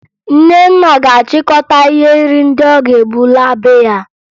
Nnenna ga-achịkọta ihe nri ndị ọ ga-ebu laa be ya